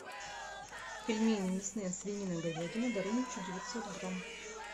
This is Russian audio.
пельмени мясные свинина говядина дороничи девятьсот грамм